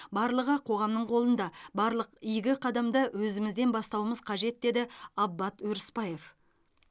барлығы қоғамның қолында барлық игі қадамды өзімізден бастауымыз қажет деді аббат өрісбаев